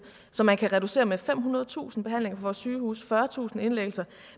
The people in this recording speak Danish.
så man kan reducere med femhundredetusind behandlinger på vores sygehuse fyrretusind indlæggelser